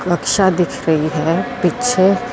ਬਖਸ਼ਾ ਦਿਖ ਰਹੀ ਹੈ ਪਿੱਛੇ।